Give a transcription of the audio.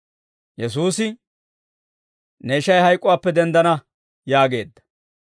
Yesuusi, «Ne ishay hayk'uwaappe denddana» yaageedda.